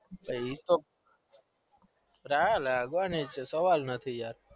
એતો નાના સવાલ જ નથી yaar